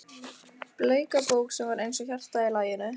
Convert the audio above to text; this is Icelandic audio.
Bleika bók sem var eins og hjarta í laginu?